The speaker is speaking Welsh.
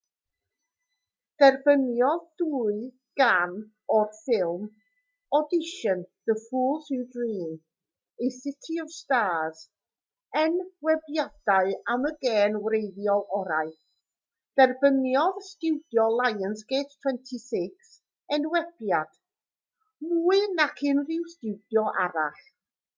derbyniodd dwy gân o'r ffilm audition the fools who dream a city of stars enwebiadau am y gân wreiddiol orau. derbyniodd stiwdio lionsgate 26 enwebiad - mwy nac unrhyw stiwdio arall